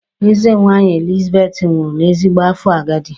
Eze nwaanyị Elizabeth nwụrụ n'ezigbo afọ agadi.